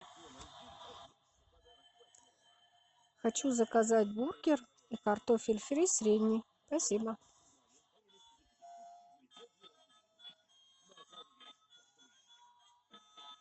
хочу заказать бургер и картофель фри средний спасибо